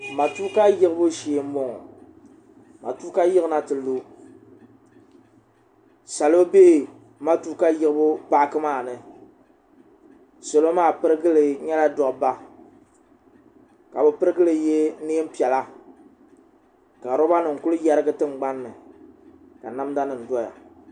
matuuka yiɣibu shee n boŋo matuuka yiɣina ti lu salo bɛ matuuka yiɣibu paaki maa ni salo maa pirigili nyɛla dabba ka bi pirigili yɛ neen piɛla ka roba nim ku yɛrigi tingbanni ka namda nim doya